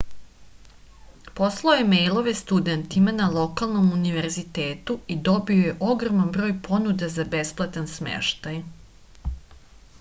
poslao je mejlove studentima na lokalnom univezitetu i dobio je ogroman broj ponuda za besplatan smeštaj